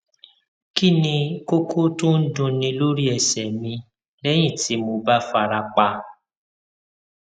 kí ni koko to n dunní lórí ẹsẹ mi lẹyìn tí mo bá fara pa